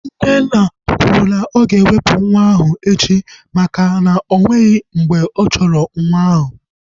Nnenna kwuru na oga ewepu nwa ahu echi maka na onweghi mgbe ọ chọrọ nwa ahu